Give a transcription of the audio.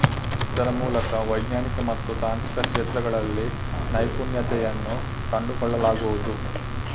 ಇದರ ಮೂಲಕ ವೈಜ್ಞಾನಿಕ ಮತ್ತು ತಾಂತ್ರಿಕ ಕ್ಷೇತ್ರಗಳಲ್ಲಿ ನೈಪುಣ್ಯತೆಯನ್ನು ಕಂಡುಕೊಳ್ಳಲಾಗುವುದು